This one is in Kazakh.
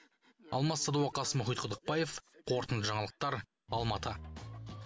алмас садуақас мұхит құдықбаев қорытынды жаңалықтар алматы